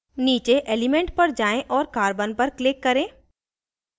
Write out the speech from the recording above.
नीचे element पर जाएँ और carbon पर click करें